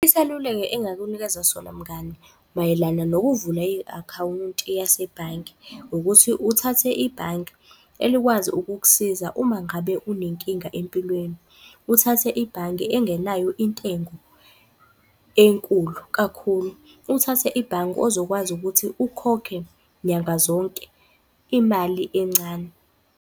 Isaluleko engakunikeza sona mngani, mayelana nokuvula i-akhawunti yasebhange, ukuthi uthathe ibhanki elikwazi ukukusiza uma ngabe unenkinga empilweni, uthathe ibhange engenayo intengo enkulu kakhulu, uthathe ibhange ozokwazi ukuthi ukhokhe nyanga zonke imali encane.